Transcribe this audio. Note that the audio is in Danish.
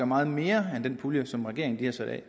meget mere end den pulje som regeringen har sat af